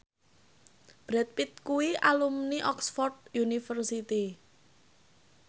Brad Pitt kuwi alumni Oxford university